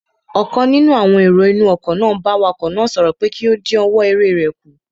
Ọ̀kan nínú àwọn èrò inú ọkọ̀ n bá awakọ̀ náà sọ̀rọ̀ pé kí ó dínwọ́ eré rẹ̀ kù